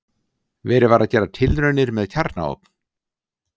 Verið var að gera tilraunir með kjarnaofn.